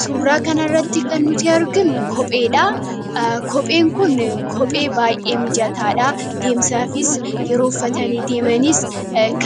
Suuraa kanarratti kan nuti aginu kopheedha. Kopheen kun Kophee baay'ee mijataadha. Deemsaafis yeroo uffatanii deemanis